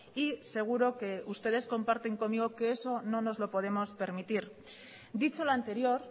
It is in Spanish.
y seguro que ustedes comparten conmigo que eso no nos lo podemos permitir dicho lo anterior